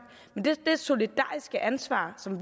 men det er et solidarisk ansvar som